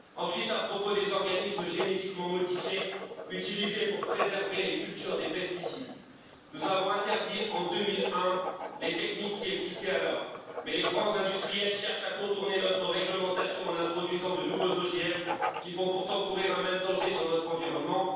Ensuite, à propos des organismes génétiquement modifiés utilisés pour préserver les cultures des pesticides nous avons interdit en 2001 les techniques qui existaient alors, mais les grands industriels cherchent à contourner notre réglementation en introduisant de nouveaux OGM, qui font pourtant courir un même danger sur notre environnement.